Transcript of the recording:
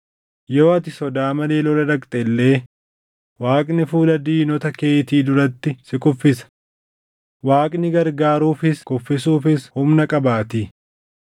Yoo ati sodaa malee lola dhaqxe illee Waaqni fuula diinota keetii duratti si kuffisa; Waaqni gargaaruufis kuffisuufis humna qabaatii.”